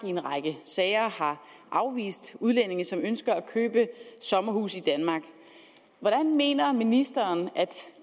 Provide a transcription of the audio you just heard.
i en række sager har afvist udlændinge som ønskede at købe sommerhuse i danmark hvordan mener ministeren at